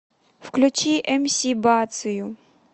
включи мс бацию